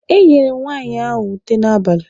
E nyere m nwaanyị ahụ ute n'abalị.